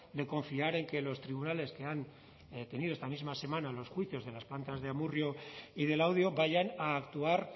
de confiar en que los tribunales que han tenido esta misma semana los juicios de las plantas de amurrio y de laudio vayan a actuar